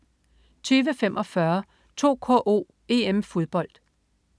20.45 2KO: EM-Fodbold